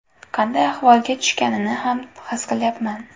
Qanday ahvolga tushganini ham his qilyapman.